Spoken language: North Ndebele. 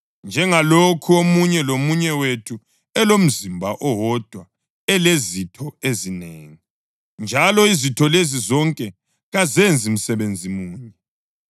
Njengalokhu omunye lomunye wethu elomzimba owodwa olezitho ezinengi, njalo izitho lezi zonke kazenzi msebenzi munye,